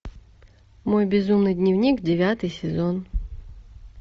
мой безумный дневник девятый сезон